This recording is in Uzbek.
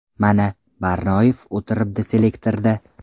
Mana, Barnoyev o‘tiribdi selektorda.